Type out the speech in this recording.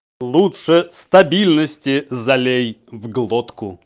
лучше стабильности залей в глотку